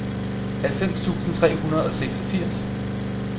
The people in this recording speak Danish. halvfems tusind tre hundrede og seksogfirs